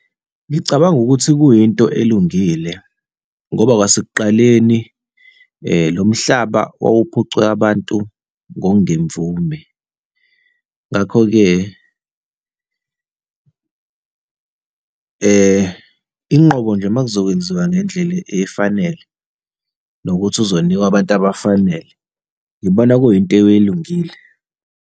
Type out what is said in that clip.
Ngicabanga ukuthi kuyinto elungile ngoba kwasekuqaleni lo mhlaba wawuphucwe abantu ngokungemvume. Ngakho-ke, inqobo nje makuzokwenziwa ngendlela efanele, nokuthi uzonikwa abantu abafanele. Ngibona kuyinto elungile.